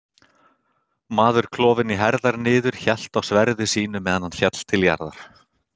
Maður klofinn í herðar niður hélt enn á sverði sínu meðan hann féll til jarðar.